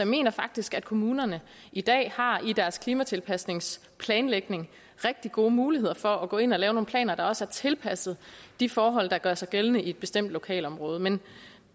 mener faktisk at kommunerne i dag i deres klimatilpasningsplanlægning rigtig gode muligheder for at gå ind og lave nogle planer der også er tilpasset de forhold der gør sig gældende i et bestemt lokalområde men